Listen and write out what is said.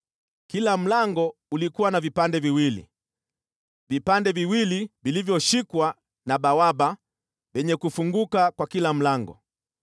Kila mlango ulikuwa na vipande viwili, vipande viwili vilivyoshikwa na bawaba vyenye kufunguka kwa kila mlango.